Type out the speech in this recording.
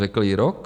Řekl i rok?